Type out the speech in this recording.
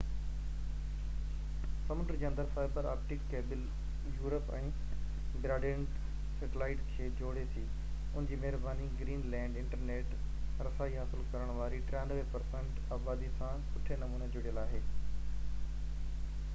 سمنڊ جي اندر فائبر آپٽڪ ڪيبل يورپ ۽ براڊبينڊ سيٽلائيٽ کي جوڙي ٿي ان جي مهرباني گرين لينڊ انٽرنيٽ رسائي حاصل ڪرڻ واري 93% آبادي سان سٺي نموني جڙيل آهي